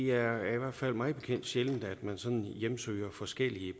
er i hvert fald mig bekendt sjældent at man sådan søger forskellige